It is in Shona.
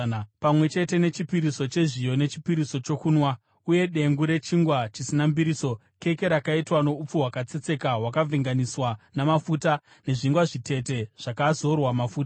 pamwe chete nechipiriso chezviyo nechipiriso chokunwa, uye dengu rechingwa chisina mbiriso, keke rakaitwa noupfu hwakatsetseka hwakavhenganiswa namafuta, nezvingwa zvitete zvakazorwa mafuta.